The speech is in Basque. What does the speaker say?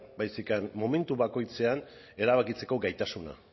baizik eta momentu bakoitzean erabakitzeko gaitasuna